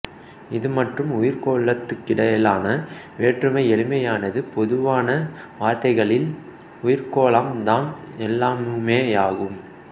இது மற்றும் உயிர்க்கோளத்துக்கிடையிலான வேற்றுமை எளிமையானது பொதுவான வார்த்தைகளில் உயிர்க்கோளம் தான் எல்லாமுமேயாகும்